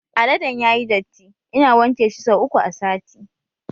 Aladen yayi datti, ina wanke shi sau uku a sati